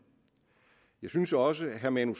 jeg synes også at herre manu